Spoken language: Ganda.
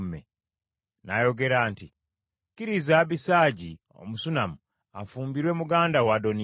N’ayogera nti, “Kkiriza Abisaagi Omusunammu afumbirwe muganda wo Adoniya.”